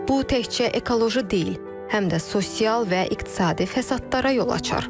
Bu təkcə ekoloji deyil, həm də sosial və iqtisadi fəsadlara yol açar.